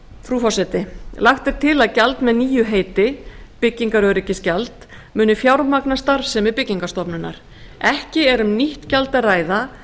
frú forseti lagt er til að gjald með nýju heiti byggingaröryggisgjald muni fjármagna starfsemi byggingarstofnunar ekki er um nýtt gjald að ræða